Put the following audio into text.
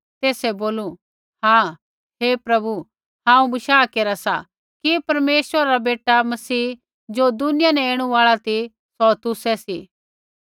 तेसै बोलू हाँ हे प्रभु हांऊँ बशाह केरा सा कि परमेश्वरा रा बेटा मसीह ज़ो दुनिया न ऐणु आल़ा ती सौ तुसै सी